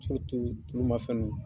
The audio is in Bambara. tulumafɛn ninnu.